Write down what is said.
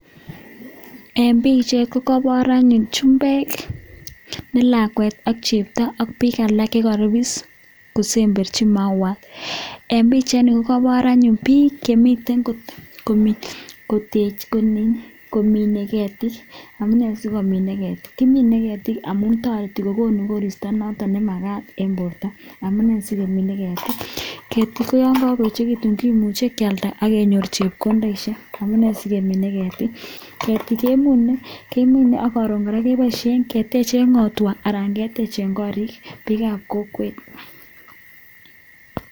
eng pichait kokepar anyuun chumbeek ne lakwet ak cheptoo ak piik alak chekaripis kosemberchii mauwaaat eng pichait inii koo kebar piik chemitei komineee ketik kiminee ketik amune konii sikenyor koristaa nekararan mising